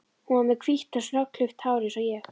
Hún var með hvítt og snöggklippt hár eins og ég.